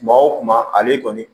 Kuma o kuma ale kɔni